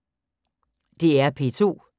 DR P2